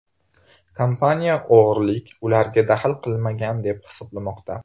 Kompaniya o‘g‘rilik ularga daxl qilmagan deb hisoblamoqda.